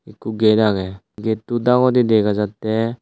ekku gate agey getto dagedi dega jatte.